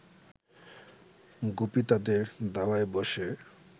গুপি তাদের দাওয়ায় ব’সে